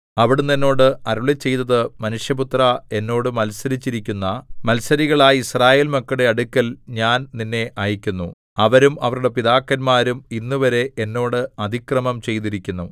അവിടുന്ന് എന്നോട് അരുളിച്ചെയ്തത് മനുഷ്യപുത്രാ എന്നോട് മത്സരിച്ചിരിക്കുന്ന മത്സരികളായ യിസ്രായേൽ മക്കളുടെ അടുക്കൽ ഞാൻ നിന്നെ അയയ്ക്കുന്നു അവരും അവരുടെ പിതാക്കന്മാരും ഇന്നുവരെ എന്നോട് അതിക്രമം ചെയ്തിരിക്കുന്നു